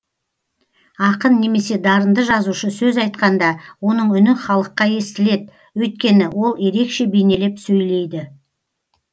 ақын немесе дарынды жазушы сөз айтқанда оның үні халыққа естілет өйткені ол ерекше бейнелеп сөйлейді